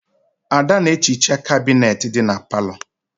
Ada na-ehicha kabinet dị na palọ.